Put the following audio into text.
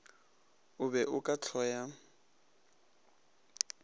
o be o ka hloya